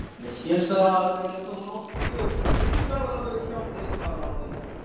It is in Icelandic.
Mér skilst, að það hafi verið þó nokkuð um ferðalög hjá þér þar að auki